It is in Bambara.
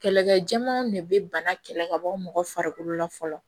Kɛlɛkɛjɛmanw de bɛ bana kɛlɛ ka bɔ mɔgɔ farikolo la fɔlɔ